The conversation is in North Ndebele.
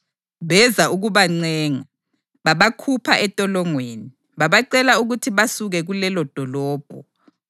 Beza ukuzabancenga, babakhupha entolongweni, babacela ukuthi basuke kulelodolobho.